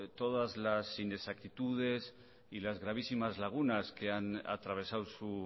todas las inexactitudes y las gravísimas lagunas que han atravesado su